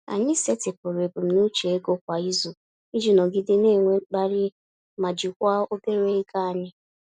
Anyị setịpụrụ ebumnuche ego kwa izu iji nọgide na-enwe mkpali ma jikwaa obere ego anyị.